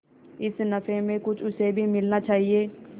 इस नफे में कुछ उसे भी मिलना चाहिए